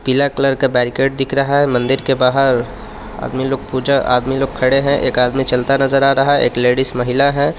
पीला कलर का बेरिकेड दिख रहा है मंदिर के बाहर आदमी लोग पूजा आदमी लोग खड़े हैं एक आदमी चलता नजर आ रहा है एक लेडिस महिला हैं.